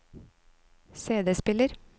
CD-spiller